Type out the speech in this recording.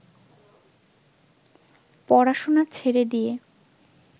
পড়াশোনা ছেড়ে দিয়ে